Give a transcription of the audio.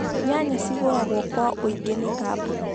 Nyanya cigũragwo kwa ũingĩ nĩ kambũni